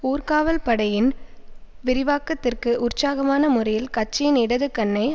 ஊர்காவல் படையின் விரிவாக்கத்திற்கு உற்சாகமான முறையில் கட்சியின் இடது கன்னை